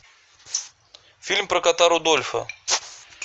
фильм про кота рудольфа